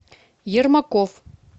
ермаков